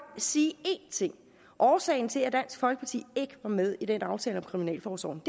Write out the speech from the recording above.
sige én ting årsagen til at dansk folkeparti ikke var med i den aftale om kriminalforsorgen